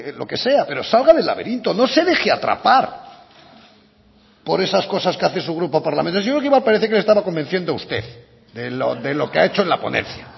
lo que sea pero salga del laberinto no se deje atrapar por esas cosas que hace su grupo parlamentario yo lo que iba a parecer que le estaba convenciendo a usted de lo que ha hecho en la ponencia